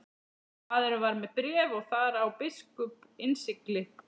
Maðurinn var með bréf og þar á biskups innsigli.